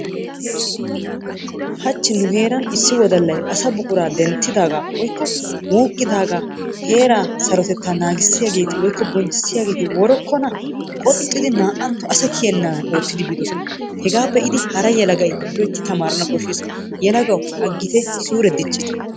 Hachi nu heeran issi wodallay asaa buquraa denttidaaga woykko wuuqqidaaga heeraa sarotetta naagissiyaageeti woykko bonchchissiyaageeti worokkona! Qoxxidi naa"antto asa kiyeenaan oottidi biidoosona. Hegaa be'idi hara yelagay loytti tamarana koshshees. Yelagawu aggite suure diccite!